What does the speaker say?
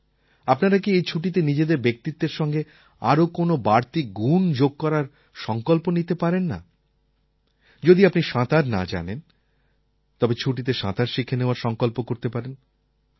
আপনারা কি এই ছুটিতে নিজেদের ব্যক্তিত্বের সঙ্গে আরও কোনও বাড়তি গুণ যোগ করার সঙ্কল্প নিতে পারেন না যদি আপনি সাঁতার না জানেন তবে ছুটিতে সাঁতার শিখে নেওয়ার সঙ্কল্প করতে পারেন